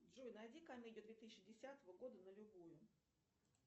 джой найди комедию две тысячи десятого года на любую